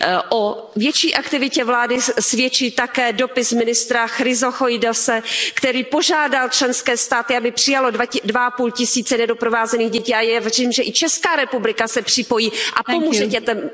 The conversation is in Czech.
O větší aktivitě vlády svědčí také dopis ministra Chryssochoidise, který požádal členské státy, aby přijaly dva a půl tisíce nedoprovázených dětí a věřím, že i Česká republika se připojí a pomůže dětem.